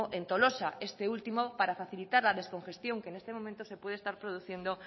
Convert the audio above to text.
en tolosa este último para facilitar la descongestión que en este momento se puede estar produciendo